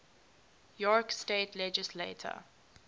york state legislature